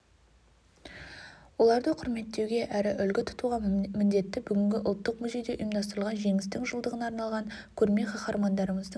оларды құрметтеуге әрі үлгі тұтуға міндетті бүгінгі ұлттық музейде ұйымдастырылған жеңістің жылдығына арналған көрме қаһармандарымыздың